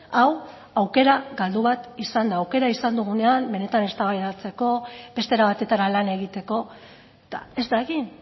hau aukera galdu bat izan da aukera izan dugunean benetan eztabaidatzeko beste era batetara lan egiteko eta ez da egin